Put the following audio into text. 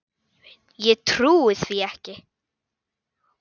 Ég trúi því ekki,